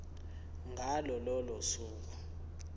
ngalo lolo suku